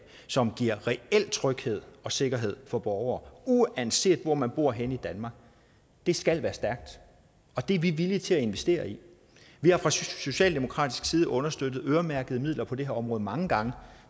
som giver reel tryghed og sikkerhed for borgerne uanset hvor man bor henne i danmark skal være stærkt og det er vi villige til at investere i vi har fra socialdemokratisk side understøttet øremærkede midler på det her område mange gange